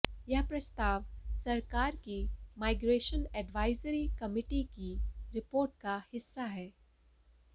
यह प्रस्ताव सरकार की माइग्रेशन एडवाइजरी कमेटी की रिपोर्ट का हिस्सा है